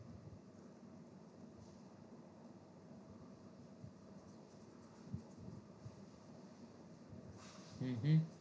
હમ હા